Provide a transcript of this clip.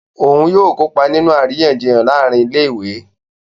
Òún yóò kópa nínú àríyànjiyàn láàrin ilé-ìwé